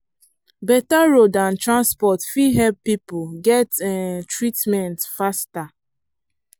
better road and transport fit help people get um treatment faster.